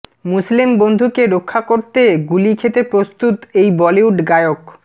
মুসলিম বন্ধুকে রক্ষা করতে গুলি খেতে প্রস্তুত এই বলিউড গায়ক